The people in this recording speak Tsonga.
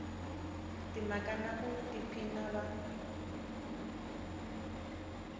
timhaka na ku tiphina va